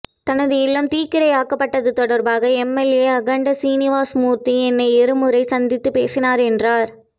தனது இல்லம் தீக்கிரையாக்கப்பட்டது தொடா்பாக எம்எல்ஏ அகண்ட சீனிவாஸ்மூா்த்தி என்னை இரு முறை சந்தித்துப் பேசினாா் என்றாா்